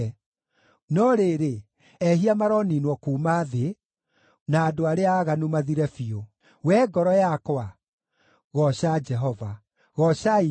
No rĩrĩ, ehia maroniinwo kuuma thĩ, na andũ arĩa aaganu mathire biũ. Wee ngoro yakwa, gooca Jehova. Goocai Jehova.